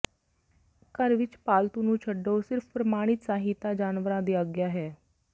ਘਰ ਵਿੱਚ ਪਾਲਤੂ ਨੂੰ ਛੱਡੋ ਸਿਰਫ ਪ੍ਰਮਾਣਿਤ ਸਹਾਇਤਾ ਜਾਨਵਰਾਂ ਦੀ ਆਗਿਆ ਹੈ